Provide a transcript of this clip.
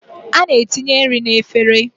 A na-etinye nri n'efere